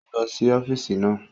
Ó ń lọ sí ọ́físì náà